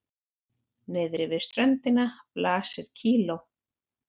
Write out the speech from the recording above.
Niðri við ströndina blasir kíló